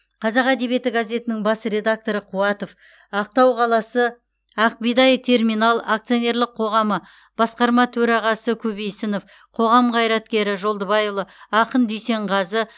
қазақ әдебиеті газетінің бас редакторы қуатов ақтау қаласы ақ бидай терминал акционерлік қоғамы басқарма төрағасы көбейсінов қоғам қайраткері жолдыбайұлы ақын дүйсенғазы